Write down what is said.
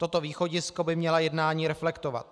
Toto východisko by měla jednání reflektovat.